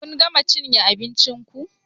Kun gama cinye abincin ku?